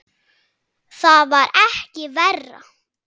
Það var ekki verra.